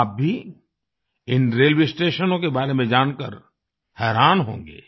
आप भी इन रेलवे स्टेशनों के बारे में जानकार हैरान होंगे